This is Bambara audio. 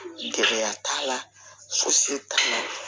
Gɛlɛya t'a la fosi t'a la